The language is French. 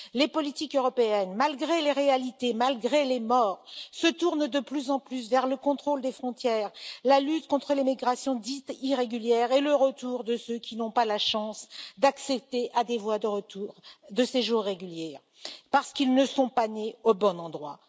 Les politiques européennes, malgré les réalités, malgré les morts, se tournent de plus en plus vers le contrôle des frontières, la lutte contre les migrations dites irrégulières et le retour de ceux qui n'ont pas la chance d'accéder à des voies de séjour régulier parce qu'ils ne sont pas nés au bon endroit.